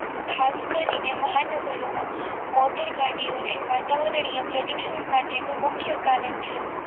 ખાસ કરીને મહાનગરોમાં મોટર ગાડીઓ એ વાતાવરણીય પ્રદૂષણો માટેનું મુખ્ય કારણ છે